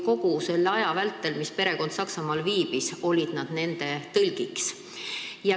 Kogu selle aja vältel, mis perekond Saksamaal viibis, olid nad nende tõlgiks.